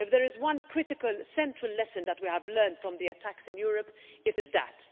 If there is one critical, central lesson that we have learned from the attacks in Europe, it is that.